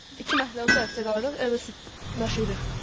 İki məhəllə o tərəfdə qalırıq, evə su daşıyırıq.